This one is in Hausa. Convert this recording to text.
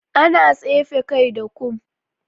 Ana tsefe kai da kum.